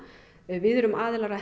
við erum aðilar að